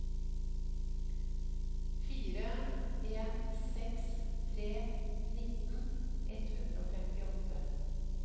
fire en seks tre nitten ett hundre og femtiåtte